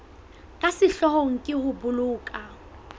ka sehloohong ke ho boloka